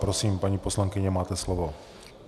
Prosím, paní poslankyně, máte slovo.